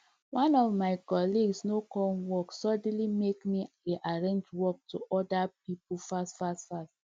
one of my colleagues no come work suddenly make me rearrange work to other people fast fast fast